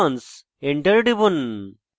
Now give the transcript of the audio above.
enter টিপুন